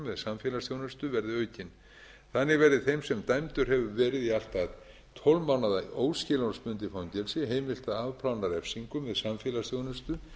með samfélagsþjónustu verði aukin þannig verði þeim sem dæmdur hefur verið í allt að tólf mánaða óskilorðsbundið fangelsi heimilt að afplána refsingu með samfélagsþjónustu